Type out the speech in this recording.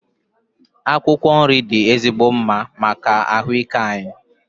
Akwụkwọ nri dị ezigbo mma maka ahụ ike anyị.